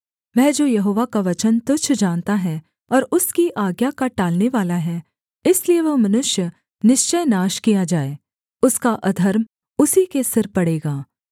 वह जो यहोवा का वचन तुच्छ जानता है और उसकी आज्ञा का टालनेवाला है इसलिए वह मनुष्य निश्चय नाश किया जाए उसका अधर्म उसी के सिर पड़ेगा